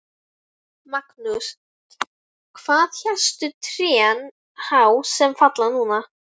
Magnús: Hvað eru hæstu trén há sem falla núna?